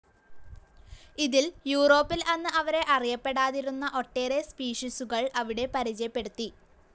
ഇതിൽ യൂറോപ്പിൽ അന്ന് വരെ അറിയപ്പെടാതിരുന്ന ഒട്ടേറെ സ്പീഷീസുകൾ അവിടെ പരിചയപ്പെടുത്തി.